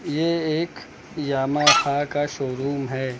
ये एक यामाहा का शोरूम है।